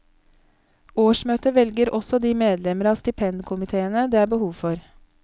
Årsmøtet velger også de medlemmer av stipendkomiteene det er behov for.